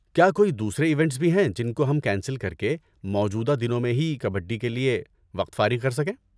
کیا کوئی دوسرے ایونٹس بھی ہیں جن کو ہم کینسل کر کے موجودہ دنوں ہی میں کبڈی کے لیے وقت فارغ کر سکیں؟